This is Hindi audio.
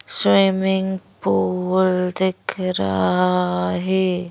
स्विमिंग पूल दिख रहा है।